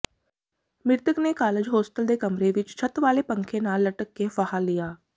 ਮ੍ਰਿਤਕ ਨੇ college hostel ਦੇ ਕਮਰੇ ਵਿਚ ਛੱਤ ਵਾਲੇ ਪੱਖੇ ਨਾਲ ਲਟਕ ਕੇ ਫਾਹਾ ਲਿਆ